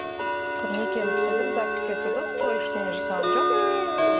құр некемізді қидырып загс ке тұрдық той ештеңе жасаған жоқпыз